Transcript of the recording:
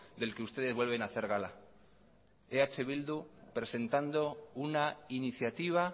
del que ustedes vuelven a hacer gala eh bildu presentado una iniciativa